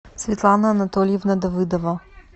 светлана анатольевна давыдова